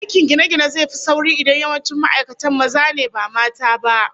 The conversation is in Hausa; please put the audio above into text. Aikin gine-gine zai fi sauri idan yawancin ma'aikatan maza ne ba mata ba